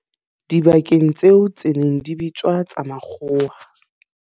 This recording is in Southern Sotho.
dibakeng tseo tse neng di bitswa tsa makgowa.